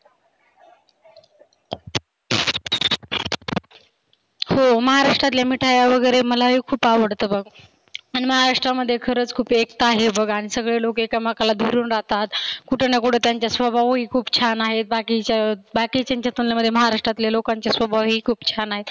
हो महाराष्ट्रातल्या मिठाया वगैरे मलाही खुप आवडतात बाबा. आन महाराष्ट्रामध्ये खरच खुप एकता आहे बघ आणि सगळे लोक एकामेकाला धरुण राहतात. कुठेना कुठे त्याच्या स्वभावही खुप छान आहे बाकिच्या बाकिच्यांच्या तुलनेत महाराष्ट्राच्या लोकांच्या स्वभावही खुप छान आहेत.